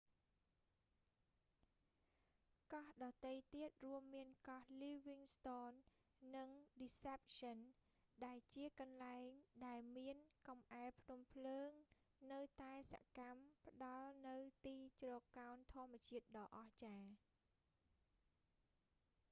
កោះដទៃទៀតរួមមានកោះ livingston និង deception ដែលជាកន្លែងដែលមានកំអែលភ្នំភ្លើងនៅតែសកម្មផ្តល់នូវទីជ្រកកោនធម្មជាតិដ៏អស្ចារ្យ